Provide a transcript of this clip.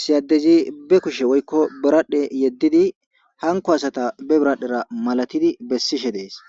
siyaddezi be kushe woykko biradhe yeddidi hanko asata be biradhdhera malatidi bessishe dees.